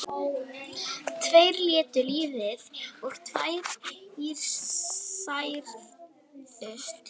Tveir létu lífið og tveir særðust